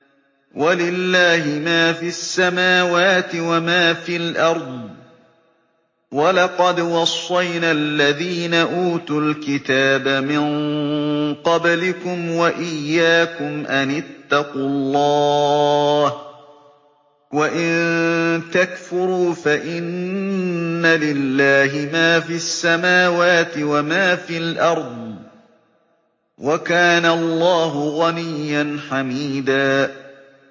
وَلِلَّهِ مَا فِي السَّمَاوَاتِ وَمَا فِي الْأَرْضِ ۗ وَلَقَدْ وَصَّيْنَا الَّذِينَ أُوتُوا الْكِتَابَ مِن قَبْلِكُمْ وَإِيَّاكُمْ أَنِ اتَّقُوا اللَّهَ ۚ وَإِن تَكْفُرُوا فَإِنَّ لِلَّهِ مَا فِي السَّمَاوَاتِ وَمَا فِي الْأَرْضِ ۚ وَكَانَ اللَّهُ غَنِيًّا حَمِيدًا